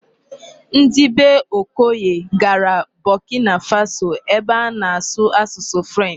Ndị bee Okoye gara Burkina Faso ebe a na-asụ asụsụ 'French'.